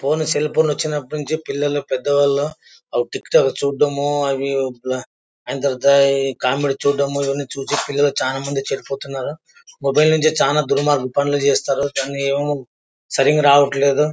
Phone cell phone వచ్చినప్పటి నుంచి పిల్లలు పెద్దవాళ్ళు టిక్ టాక్ చూడడంఆ యూట్యూబ్ లో అయిన తర్వాత కామెడీ చూడడము చూసి చానా మంది పిల్లలు చెడిపోతున్నారు మొబైల్ నుంచి చాలా దుర్మార్గపు పనులు చేస్తున్నారు పనేమో సరిగా రావట్లేదు.